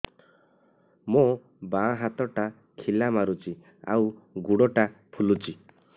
ମୋ ବାଆଁ ହାତଟା ଖିଲା ମାରୁଚି ଆଉ ଗୁଡ଼ ଟା ଫୁଲୁଚି